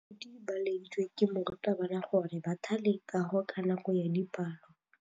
Baithuti ba laeditswe ke morutabana gore ba thale kagô ka nako ya dipalô.